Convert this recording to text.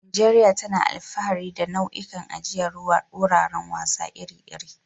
Najeriya tana alfahari da nau'ikan ajiyar wuraren wasa iri-iri.